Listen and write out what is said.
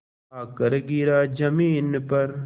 आकर गिरा ज़मीन पर